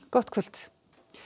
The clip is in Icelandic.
gott kvöld